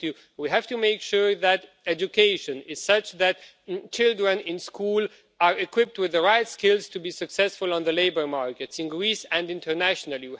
We have to make sure that education is such that children in school are equipped with the right skills to be successful on the labour markets in Greece and internationally.